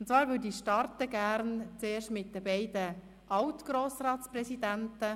Ich starte mit den beiden alt Grossratspräsidenten;